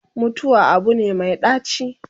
mutuwa Abu ne Mai ɗaci